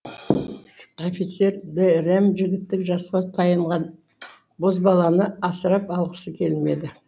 офицер дэрэм жігіттік жасқа таяған бозбаланы асырап алғысы келмеді